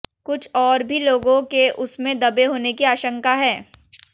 कुछ और भी लोगों के उसमें दबे होने की आंशका है